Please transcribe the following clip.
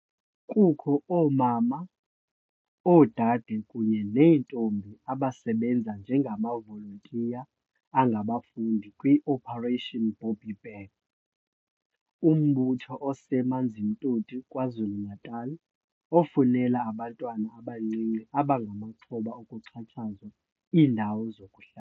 Kukho oomama, oodade kunye neentombi abasebenza njengamavolontiya angabafundi kwi-Operation Bobbi Bear, umbutho ose-Amanzimtoti KwaZulu-Natal ofunela abantwana abancinci abangamaxhoba okuxhatshazwa iindawo zokuhla.